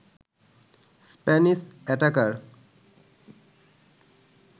Spanish attacker